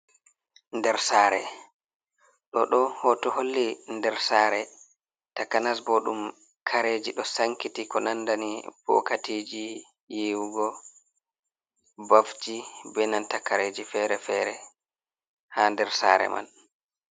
Nder sare ɗo do hoto holli nder sare takanas, ɓo ɗum kareji ɗo sankiti, ko nandani bokatiji yewugo bafji be nanta kareji fere-fere ha nder sare man.